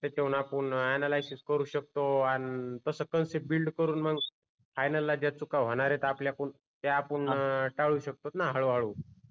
त्याच्याऊन आपुन अनालिसिस करू शकतो आणि कस कन्सेप्ट बिल्ड करून मग फायनल ला जे चुका होणार आहे आपल्या कुण ते आपुन टाळू शकतो न हळू हळू